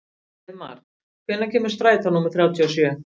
Heiðmar, hvenær kemur strætó númer þrjátíu og sjö?